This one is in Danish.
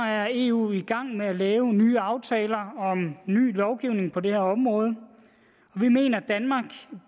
er eu i gang med at lave nye aftaler om ny lovgivning på det her område vi mener